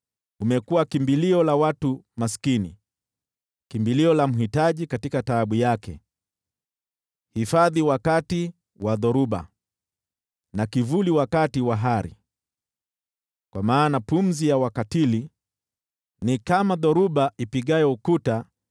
Umekuwa kimbilio la watu maskini, kimbilio la mhitaji katika taabu yake, hifadhi wakati wa dhoruba na kivuli wakati wa hari. Kwa maana pumzi ya wakatili ni kama dhoruba ipigayo ukuta